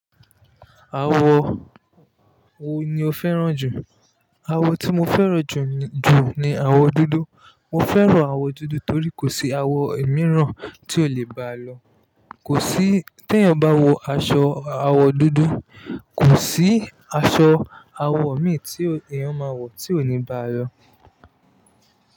Awo wo ni o fẹ́ràn jù? Awo tí mo fẹ́ràn ju ni awo dúdú. Mo fẹ́ràn awo dúdú torí kò sí awo mìíràn tí o le ba lọ. Kò sí, tí ẹ́ bá wọ aṣọ awo dúdú, kò sí aṣọ awo mi tí èèyàn máa wọ̀ tí ò ní ba lọ.